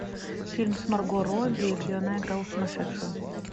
фильм с марго робби где она играла сумасшедшую